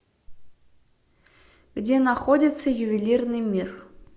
где находится ювелирный мир